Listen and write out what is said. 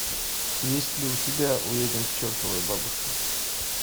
есть ли у тебя уедем к чертовой бабушке